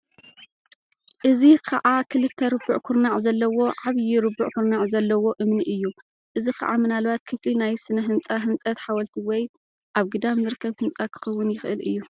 እዚ ኸኣ ክልተ ርቡዕ ኵርናዕ ዘለዎ ዓብዪ ርቡዕ ኵርናዕ ዘለዎ እምኒ እዩ :: እዚ ኸኣ ምናልባት ክፍሊ ናይ ስነ-ህንጻ ህንፀትሓወልቲ ወይ ኣብ ግዳም ዝርከብ ህንጻ ኪኸውን ይኽእል እዩ።